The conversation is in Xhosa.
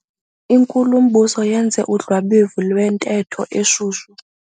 Inkulumbuso yenze udlwabevu lwentetho eshushu.